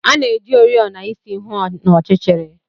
A na-eji oriọna isi hụ n'ọchịchịrị.